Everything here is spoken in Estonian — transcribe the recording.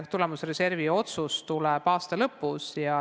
Tulemusreservi otsus tuleb aasta lõpus.